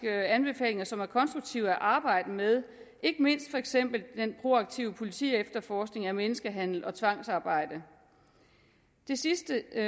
anbefalinger som er konstruktive at arbejde med ikke mindst for eksempel den proaktive politiefterforskning af menneskehandel og tvangsarbejde det sidste jeg